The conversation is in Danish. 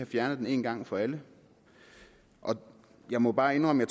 fjernet den en gang for alle jeg må bare indrømme at